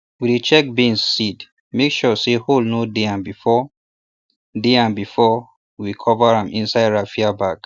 we dey check beans seed make sure say hole no dey am before dey am before we cover am inside raffia bag